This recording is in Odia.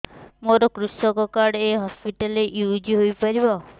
ମୋର କୃଷକ କାର୍ଡ ଏ ହସପିଟାଲ ରେ ୟୁଜ଼ ହୋଇପାରିବ